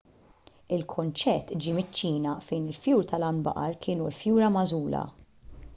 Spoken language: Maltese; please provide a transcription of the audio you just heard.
l-kunċett ġie miċ-ċina fejn il-fjur tal-għanbaqar kienu l-fjura magħżula